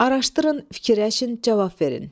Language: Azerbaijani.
Araşdırın, fikirləşin, cavab verin.